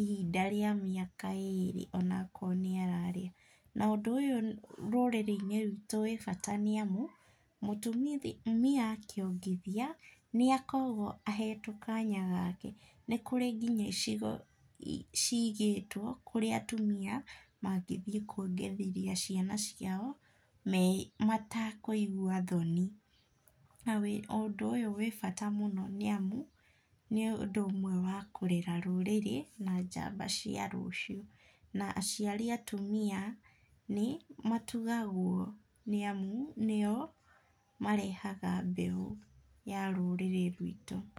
ihinda rĩa mĩaka ĩrĩ ona akorwo nĩ ararĩa, na ũndũ ũyũ thĩiniĩ wa rũrĩrĩ rwitũ nĩ rĩa bata nĩ amu, mũtumia akĩongithia nĩ akoragwo ahetwo kanya gake, nĩ kũrĩ nginya icigo ciĩgĩtwo kũrĩa atumia mangĩthiĩ kwongirĩthia ciana ciao, me matakũigua thoni , na ũndũ ũyũ wĩ bata mũno nĩ amu nĩ ũndũ ũmwe wa kũrera rũrĩrĩ na njamba cia rũciũ, na aciari a atumia, nĩ matugagwo nĩ amu nĩo marehaga mbeũ ya rũrĩrĩ rwitũ.